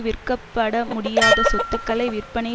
விற்கப்படமுடியாத சொத்துக்களை விற்பனை